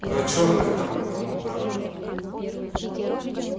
про чёрных там про мутанта